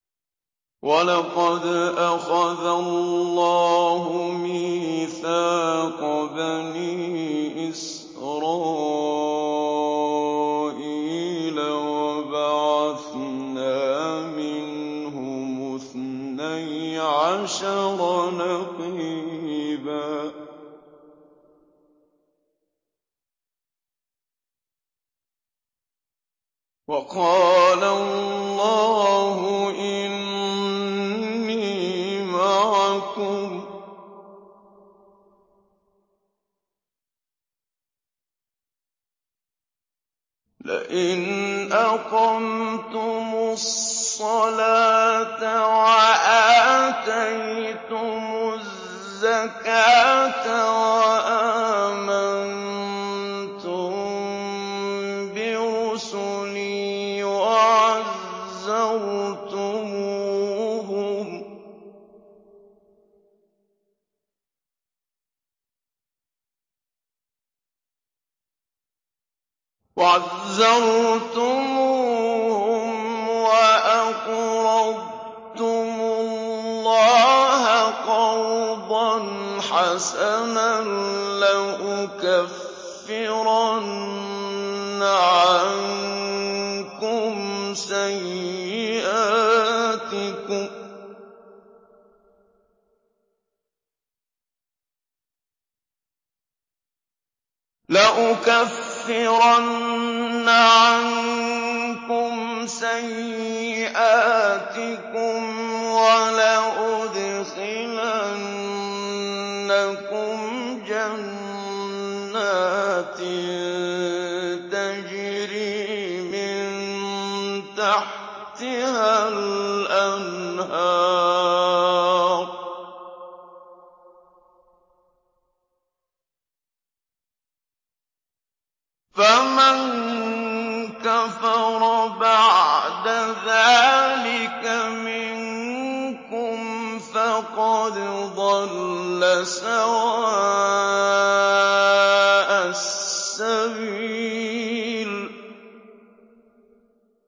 ۞ وَلَقَدْ أَخَذَ اللَّهُ مِيثَاقَ بَنِي إِسْرَائِيلَ وَبَعَثْنَا مِنْهُمُ اثْنَيْ عَشَرَ نَقِيبًا ۖ وَقَالَ اللَّهُ إِنِّي مَعَكُمْ ۖ لَئِنْ أَقَمْتُمُ الصَّلَاةَ وَآتَيْتُمُ الزَّكَاةَ وَآمَنتُم بِرُسُلِي وَعَزَّرْتُمُوهُمْ وَأَقْرَضْتُمُ اللَّهَ قَرْضًا حَسَنًا لَّأُكَفِّرَنَّ عَنكُمْ سَيِّئَاتِكُمْ وَلَأُدْخِلَنَّكُمْ جَنَّاتٍ تَجْرِي مِن تَحْتِهَا الْأَنْهَارُ ۚ فَمَن كَفَرَ بَعْدَ ذَٰلِكَ مِنكُمْ فَقَدْ ضَلَّ سَوَاءَ السَّبِيلِ